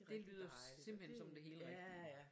Det lyder simpelthen som det helt rigtige